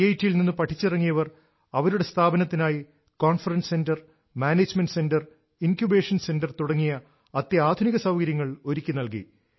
T യിൽ നിന്ന് പഠിച്ചിറങ്ങിയവർ അവരുടെ സ്ഥാപനത്തിനായി conference centre management centre incubation centre തുടങ്ങിയ അത്യാധുനിക സൌകര്യങ്ങൾ ഒരുക്കി നൽകി